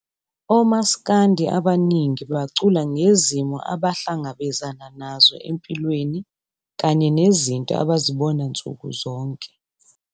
OMaskandi abaningi bacula ngezimo abahlangabezana nazo empilweni kanye nezinto abazibona nsuku zonke.